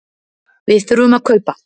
Við þurfum að kaupa.